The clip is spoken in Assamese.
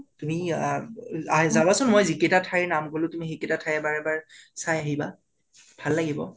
তুমি আআ , যাবা চোন, ময় যি কেইটা ঠাইৰ নাম কলোঁ, তুমি সেইকেইতা ঠাই এবাৰ এবাৰ চাই আহিবা । ভাল লাগিব